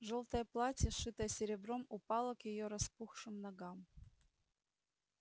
жёлтое платье шитое серебром упало к её распухшим ногам